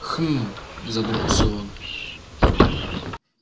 хмм задумался он